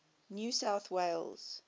new south wales